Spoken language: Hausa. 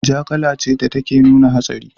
Ja kala ce da take nuna hatsari.